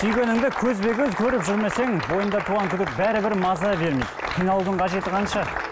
сүйгеніңді көзбе көз көріп жүрмесең бойыңда туған күдік бәрібір маза бермейді қиналудың қажеті қанша